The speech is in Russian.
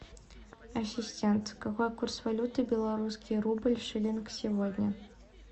ассистент какой курс валюты белорусский рубль шиллинг сегодня